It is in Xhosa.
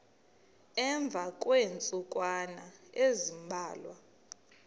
emva kweentsukwana ezimbalwa